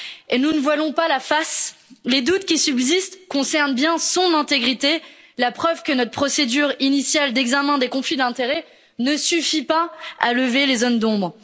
Ne nous voilons pas la face les doutes qui subsistent concernent bien son intégrité. Cela est la preuve que notre procédure initiale d'examen des conflits d'intérêts ne suffit pas à lever les zones d'ombre.